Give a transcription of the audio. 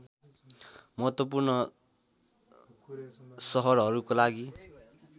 महत्त्वपूर्ण सहरहरूको लागि